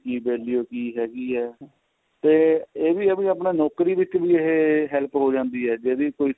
ਕੀ value ਕੀ ਹੈਗੀ ਏ ਤੇ ਇਹ ਵੀ ਆਪਣਾ ਨੋਕਰੀ ਵਿਚ ਇਹ help ਹੋ ਜਾਂਦੀ ਏ ਜੇ ਵੀ ਕੋਈ